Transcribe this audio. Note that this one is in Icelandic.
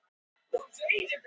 Ég mun leggja skóna á hilluna.